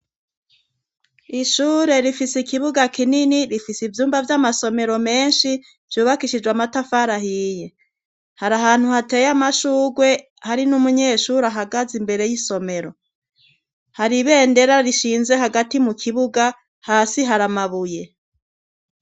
Ishure rifise ikibuga kinini, rifise ivyumba vy'amasomero menshi , vyubakishijwe amatafari ahiye ,hari ahantu hateye amashugwe hari n'umunyeshuri ahagaze imbere y'isomero ,hari ibendera rishinze hagati mu kibuga ,hasi haramabuye.